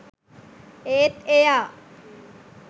ඒත් එයා